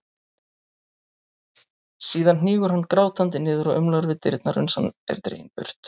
Síðan hnígur hann grátandi niður og umlar við dyrnar uns hann er dreginn burt.